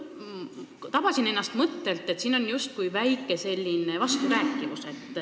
Tabasin ennast mõttelt, et siin on justkui väike vasturääkivus.